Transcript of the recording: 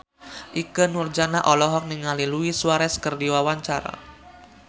Ikke Nurjanah olohok ningali Luis Suarez keur diwawancara